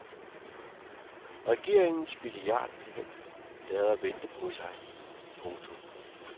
Regeringens milliardplan lader vente på sig. punktum